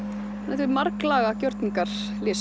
þetta er marglaga